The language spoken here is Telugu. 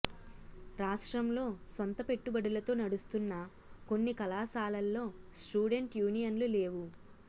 రాష్ట్రంలో సొంత పెట్టుబడులతో నడుస్తున్న కొన్ని కళాశాలల్లో స్టూడెంట్ యూనియన్లు లేవు